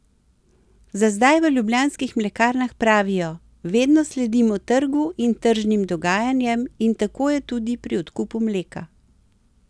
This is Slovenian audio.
Za zdaj v Ljubljanskih mlekarnah pravijo: 'Vedno sledimo trgu in tržnim dogajanjem in tako je tudi pri odkupu mleka.